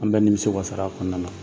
An bɛ nimisi wasar'a kɔnɔna na.